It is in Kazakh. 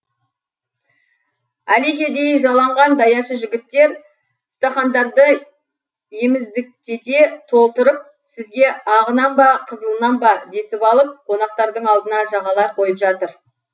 әлекедей жаланған даяшы жігіттер стақандарды еміздіктете толтырып сізге ағынан ба қызылынан ба десіп алып қонақтардың алдына жағалай қойып жатыр